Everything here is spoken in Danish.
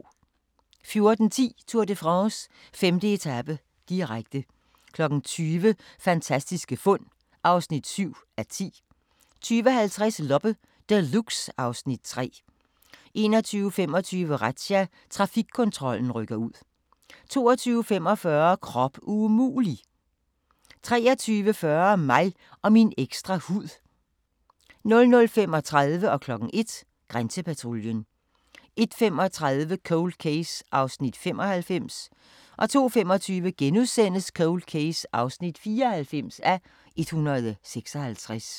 14:10: Tour de France: 5. etape, direkte 20:00: Fantastiske fund (7:10) 20:50: Loppe Deluxe (Afs. 3) 21:25: Razzia – Trafikkontrollen rykker ud 22:45: Krop umulig! 23:40: Mig og min ekstra hud 00:35: Grænsepatruljen 01:00: Grænsepatruljen 01:35: Cold Case (95:156) 02:25: Cold Case (94:156)*